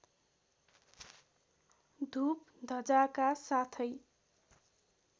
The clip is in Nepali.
धुप धजाका साथै